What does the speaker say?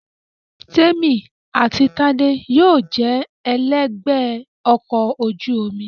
Témì àti Tádé yóò jẹ ẹlẹ́gbẹ̀ẹ́ ọkọ̀ ojú omi